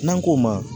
N'an k'o ma